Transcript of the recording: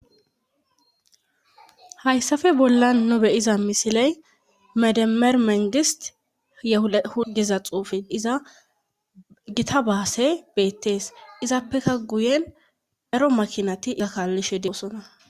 Hayssafe bolla no beyiza misiley medamermengist yehuda hugeza xuufin iza gita baase beettees izappekka guyen dero makinati akaallishe diyosona.